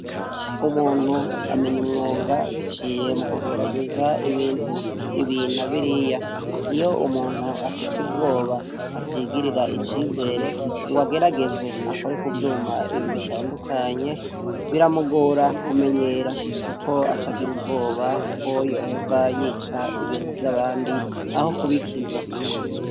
Umuntu amenya umwuga biciye mu kugerageza ibintu ibi na biriya, iyo umuntu afise ubwoba atigirira icizere ngo agerageze akore ku vyuma bitandukanye, biramugora kumenyera kuko acagira ubwoba ko yohava yicaye ibintu vy'abandi aho kubikiza.